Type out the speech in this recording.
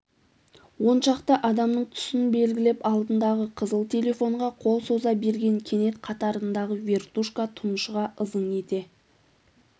оншақты адамның тұсын белгілеп алдындағы қызыл телефонға қол соза берген кенет қатарындағы вертушка тұншыға ызың ете